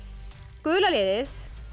gula liðið